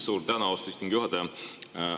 Suur tänu, austatud istungi juhataja!